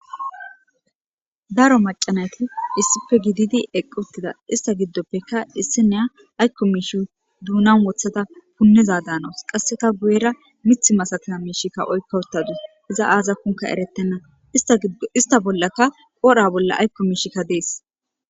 Daro macanayti issife gididi eqq uttida ista giddoppekka issi neya aykko miishi duunan wothata punniza daanawus qasseka guyera mith masatina miishikka oykka uttadus iza aaza kunka eretenna ista bollaka qodha bolla aykko miishika dees.